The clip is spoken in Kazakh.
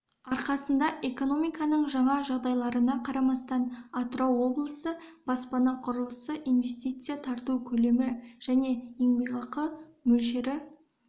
арқасында экономинаның жаңа жағдайларына қарамастан атырау облысы баспана құрылысы инвестиция тарту көлемі және еңбекақы мөлшері